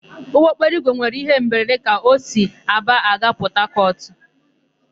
Ụgbọokporoigwe nwere íhé mberede ka o si Aba aga Pọtakọtụ.